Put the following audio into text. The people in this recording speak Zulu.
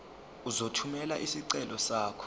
uzothumela isicelo sakho